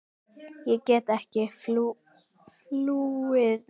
Ég gat ekki flúið neitt.